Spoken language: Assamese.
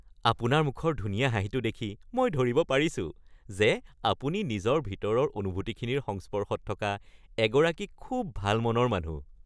আপোনাৰ মুখৰ ধুনীয়া হাঁহিটো দেখি মই ধৰিব পাৰিছো যে আপুনি নিজৰ ভিতৰৰ অনুভূতিখিনিৰ সংস্পৰ্শত থকা এগৰাকী খুব ভাল মনৰ মানুহ।